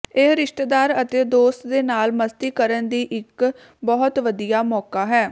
ਇਹ ਰਿਸ਼ਤੇਦਾਰ ਅਤੇ ਦੋਸਤ ਦੇ ਨਾਲ ਮਸਤੀ ਕਰਨ ਦੀ ਇੱਕ ਬਹੁਤ ਵਧੀਆ ਮੌਕਾ ਹੈ